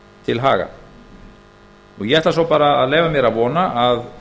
til haga ég ætla svo bara að leyfa mér að vona að